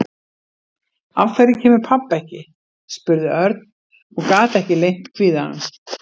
Af hverju kemur pabbi ekki? spurði Örn og gat ekki leynt kvíðanum.